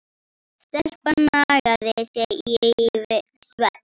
Stelpan nagaði sig í svefn.